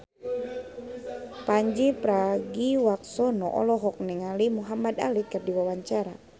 Pandji Pragiwaksono olohok ningali Muhamad Ali keur diwawancara